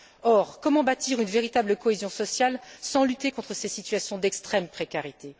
Or, comment bâtir une véritable cohésion sociale sans lutter contre ces situations d'extrême précarité?